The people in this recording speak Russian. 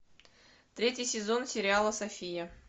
третий сезон сериала софия